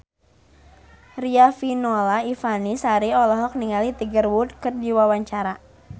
Riafinola Ifani Sari olohok ningali Tiger Wood keur diwawancara